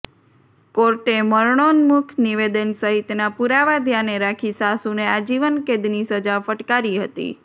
કોર્ટે મરણોન્મુખ નિવેદન સહિતના પુરાવા ધ્યાને રાખી સાસુને આજીવન કેદની સજા ફટકારી હતી